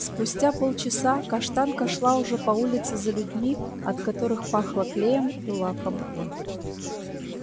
спустя полчаса каштанка шла уже по улице за людьми от которых пахло клеем и лаком